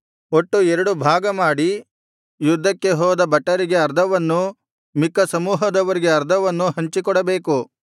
ಒಟ್ಟು ಎರಡು ಭಾಗಮಾಡಿ ಯುದ್ಧಕ್ಕೆ ಹೋದ ಭಟರಿಗೆ ಅರ್ಧವನ್ನೂ ಮಿಕ್ಕ ಸಮೂಹದವರಿಗೆ ಅರ್ಧವನ್ನೂ ಹಂಚಿಕೊಡಬೇಕು